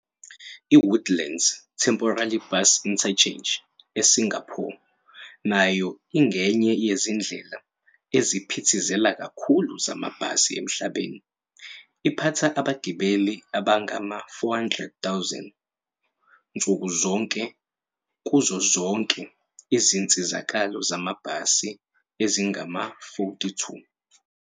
I-Woodlands Temporary Bus Interchange eSingapore nayo ingenye yezindlela eziphithizela kakhulu zamabhasi emhlabeni, iphatha abagibeli abangama-400,000 nsuku zonke kuzo zonke izinsizakalo zamabhasi ezingama-42.